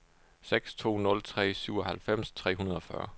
seks to nul tre syvoghalvfems tre hundrede og fyrre